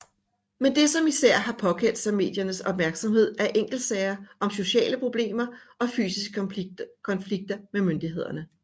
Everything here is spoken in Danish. Men det som især har påkaldt sig mediernes opmærksomhed er enkeltsager om sociale problemer og fysiske konflikter med myndigheder